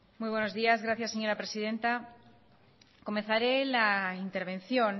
muy buenos días gracias señora presidenta comenzaré la intervención